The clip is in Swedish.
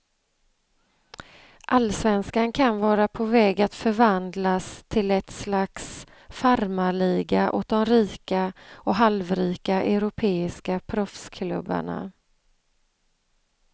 Allsvenskan kan vara på väg att förvandlas till ett slags farmarliga åt de rika och halvrika europeiska proffsklubbarna.